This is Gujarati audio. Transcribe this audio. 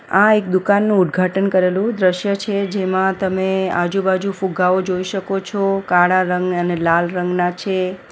આ એક દુકાનનું ઉદ્ઘાટન કરેલું દ્રશ્ય છે જેમાં તમે આજુ-બાજુ ફુગાવો જોઈ શકો છો કાળા રંગ અને લાલ રંગના છે.